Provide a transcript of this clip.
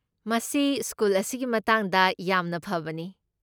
ꯃꯁꯤ ꯁ꯭ꯀꯨꯜ ꯑꯁꯤꯒꯤ ꯃꯇꯥꯡꯗ ꯌꯥꯝꯅ ꯐꯕꯅꯤ꯫